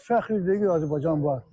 Biz fəxr edirik ki, Azərbaycan var.